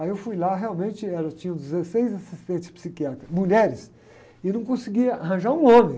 Aí eu fui lá, realmente, era, tinham dezesseis assistentes psiquiátricas, mulheres, e não conseguia arranjar um homem.